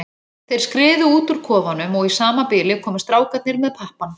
Þeir skriðu út úr kofanum og í sama bili komu strákarnir með pappann.